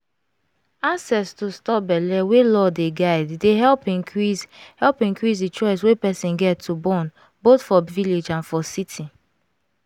access to stop belle wey law dey guide dey help increase help increase the choice wey person get to bornboth for village and for city.